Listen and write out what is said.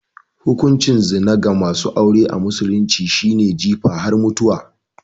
Hukuncin zina ga masu aure a musulunci shi ne jifa har mutuwa